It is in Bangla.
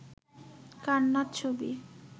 কান্নার ছবি